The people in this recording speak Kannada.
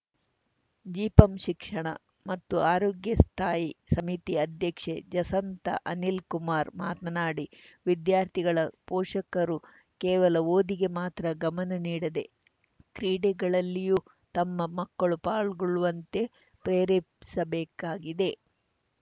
ಜಿಪಂ ಶಿಕ್ಷಣ ಮತ್ತು ಆರೋಗ್ಯ ಸ್ಥಾಯಿ ಸಮಿತಿ ಅಧ್ಯಕ್ಷೆ ಜಸಂತಾ ಅನಿಲ್‌ಕುಮಾರ್‌ ಮಾತನಾಡಿ ವಿದ್ಯಾರ್ಥಿಗಳ ಪೋಷಕರು ಕೇವಲ ಓದಿಗೆ ಮಾತ್ರ ಗಮನ ನೀಡದೆ ಕ್ರೀಡೆಗಳಲ್ಲಿಯೂ ತಮ್ಮ ಮಕ್ಕಳು ಪಾಲ್ಗೊಳ್ಳುವಂತೆ ಪ್ರೇರೇಪಿಸಬೇಕಾಗಿದೆ